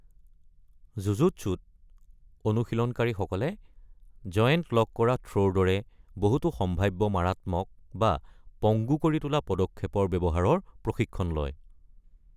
জুজুটছুত অনুশীলনকাৰীসকলে জয়েন্ট-লক কৰা থ্ৰ’ৰ দৰে বহুতো সম্ভাৱ্য মাৰাত্মক বা পংগু কৰি তোলা পদক্ষেপৰ ব্যৱহাৰৰ প্ৰশিক্ষণ লয়।